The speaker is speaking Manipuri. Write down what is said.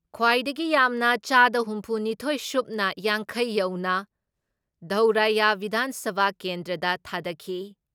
ꯈ꯭ꯋꯥꯏꯗꯒꯤ ꯌꯥꯝꯅ ꯆꯥꯗ ꯍꯨꯝꯐꯨ ꯅꯤꯊꯣꯏ ꯁꯨꯞꯅ ꯌꯥꯡꯈꯩ ꯌꯧꯅ ꯙꯧꯔꯥꯏꯌꯥ ꯕꯤꯙꯥꯟ ꯁꯚꯥ ꯀꯦꯟꯗ꯭ꯔꯗ ꯊꯥꯗꯈꯤ ꯫